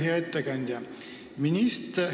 Hea ettekandja!